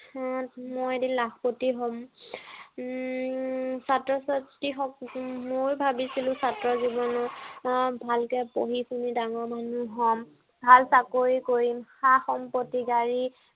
উম মই এদিন লাখপতি হম। উম ছাত্ৰ- ছাত্ৰীহঁত হম মইও ভাবিছিলো ছাত্ৰ জীৱনত আহ ভালকে পঢ়ি শুনি ডাঙৰ মানুহ হম। ভাল চাকৰি কৰিম। সা-সম্পত্তি, গাড়ী